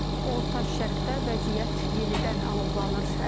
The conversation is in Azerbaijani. Orta Şərqdə vəziyyət yenidən alovlanır.